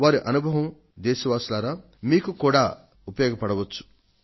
మిత్రులారా ఆయన అనుభవం మీకు కూడా ఉపయోగపడేదే